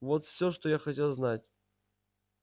вот всё что я хотел знать